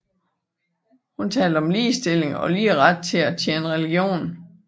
Hun talte om ligestilling og lige ret til at tjene religion